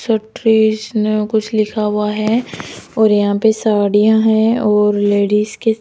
छोटरिश न कुछ लिखा हुआ है और यहां पे साड़ियां है और लेडिस के--